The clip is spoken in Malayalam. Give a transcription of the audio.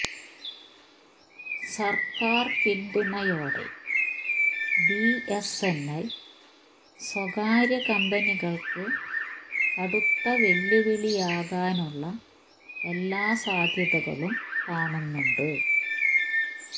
സർക്കാർ പിന്തുണയോടെ ബിഎസ്എൻഎൽ സ്വകാര്യ കമ്പനികൾക്ക് കടുത്ത വെല്ലുവിളിയാകാനുള്ള എല്ലാ സാധ്യതകളും കാണുന്നുണ്ട്